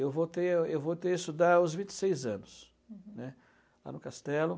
Eu voltei a eu voltei a estudar aos vinte e seis anos, uhum, né, lá no Castelo.